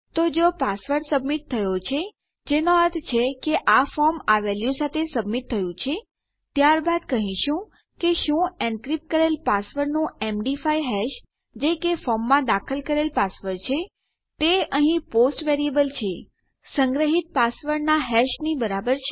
તો જો password submit થયો છે જેનો અર્થ એ છે કે આ ફોર્મ આ વેલ્યુ સાથે સબમિટ થયું છે ત્યારબાદ કહીશું કે શું એનક્રીપ્ટ કરેલ પાસવર્ડનું એમડી5 હેશ જે કે ફોર્મમાં દાખલ કરેલ પાસવર્ડ છે તે અહીં પોસ્ટ વેરીએબલ છે સંગ્રહીત પાસવર્ડનાં હેશ ની બરાબર છે